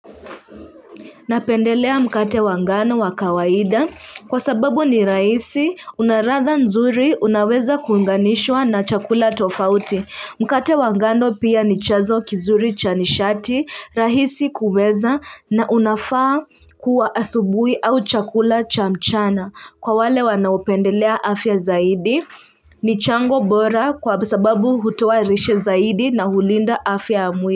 Napendelea mkate wa ngano wa kawaida. Kwasababu ni rahisi, una ladha nzuri unaweza kuunganishwa na chakula tofauti. Mkate wa ngano pia ni chanzo kizuri cha nishati, rahisi kuweza na unafaa kuwa asubuhi au chakula cha mchana. Kwa wale wanaopendelea afya zaidi ni chango bora kwasababu hutoa lishe zaidi na hulinda afya ya mwili.